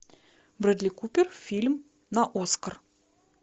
брэдли купер фильм на оскар